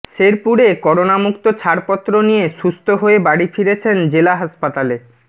শেরপুরে করোনা মুক্ত ছাড়পত্র নিয়ে সুস্থ্য হয়ে বাড়ি ফিরেছেন জেলা হাসপাতালে